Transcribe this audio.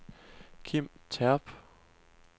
Kim Terp